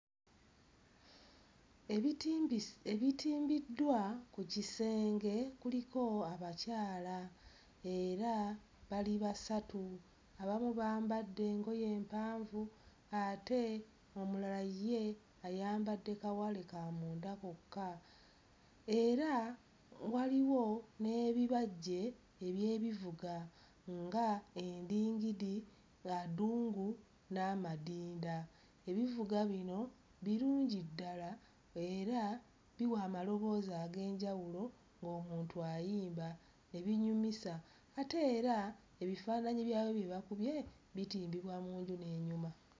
Ebitimbis... ebitimbiddwa ku kisenge kuliko abakyala era bali basatu. Abamu bambadde engoye empanvu ate omulala ye ayambadde kawale ka munda kokka era waliwo n'ebibajje eby'ebivuga nga; endingidi, adungu n'amadinda. Ebivuga bino birungi ddala era biwa amaloboozi ag'enjawulo ng'omuntu ayimba ne binyumisa ate era ebifaananyi byabyo bye bakubye bitimbibwa mu nju n'enyuma.